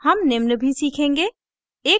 हम निम्न भी सीखेंगे